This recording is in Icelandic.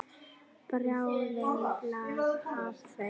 Bráðin lak af þeim.